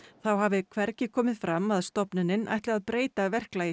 þá hafi hvergi komið fram að stofnunin ætli að breyta verklagi